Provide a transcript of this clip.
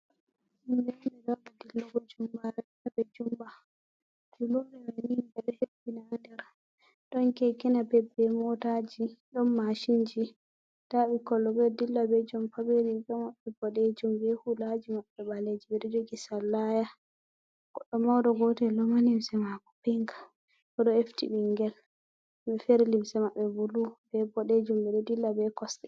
Himbe fuu nda ɗo haɓa dillugo jumbaare haa ɓe dilla ɓe jumpa juulerde man ni be ɗo hebbina ndaa nder ɗon keekeeji napeo bee mootaaji, ɗon mashinji ndaa bikkon kon boo dilla bee jompa bee limce maɓɓe boɗeejum bee huulaaji maɓɓe baleeji ɓe ɗo jogi sallaaya, goɗɗo mawɗo gootel ɗo'o ma limse matko pink o ɗo efti binngel bee feere limse maɓɓe bulu, bee bodeejum, ɓe ɗo dilla bee kosɗe.